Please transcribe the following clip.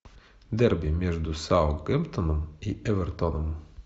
дерби между саутгемптоном и эвертоном